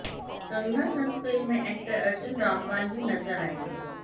कंगना संग फिल्म में एक्टर अर्जुन रामपाल भी नजर आएंगे